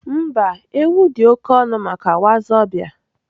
Mba, ewu dị oke ọnụ maka wazobia.